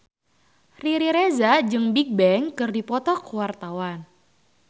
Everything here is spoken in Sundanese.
Riri Reza jeung Bigbang keur dipoto ku wartawan